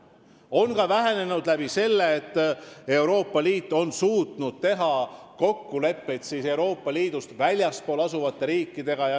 See on vähenenud ka selle tõttu, et Euroopa Liit on suutnud teha kokkuleppeid liidust väljaspool asuvate riikidega.